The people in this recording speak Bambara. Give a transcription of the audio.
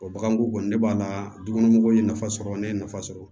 O baganko kɔni ne b'a la dukɔnɔ mɔgɔw ye nafa sɔrɔ ne ye nafa sɔrɔ